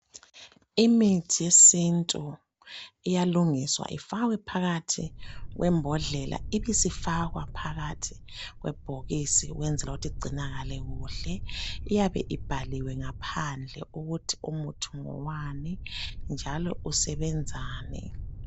Imithi yesintu iyalungiswa ifakwe phakathi kwembodlela ibisifakwa phakathi kwebhokisi ukwenzela ukuthi igcinakale kuhle iyabe ibhaliwe ngaphandle ukuthi umuthi ngowani njalo usebenzani